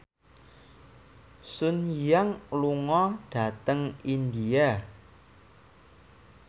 Sun Yang lunga dhateng India